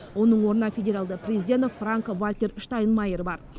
оның орнына федералды президент франк вальтер штайнмайер бар